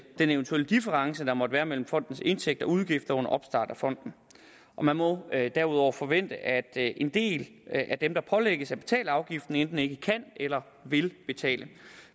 den eventuelle difference der måtte være mellem fondens indtægter og udgifter under opstart af fonden man må derudover forvente at en del af dem der pålægges at betale afgiften enten ikke kan eller vil betale